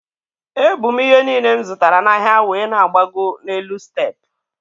E bu m ihe niile m zụtara n'ahịa wee na-agbago n'elu step.